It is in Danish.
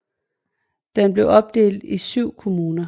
Den er opdelt i 7 kommuner